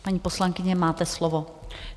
Paní poslankyně, máte slovo.